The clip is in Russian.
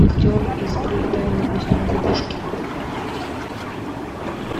актер из пролетая над гнездом кукушки